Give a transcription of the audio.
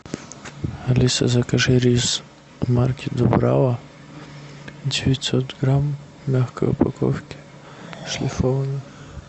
алиса закажи рис марки дубрава девятьсот грамм в мягкой упаковке шлифованный